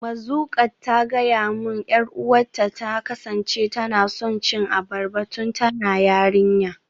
Mazuqat ta gaya min 'yar uwarta ta kasance tana son cin abarba tun tana yarinya.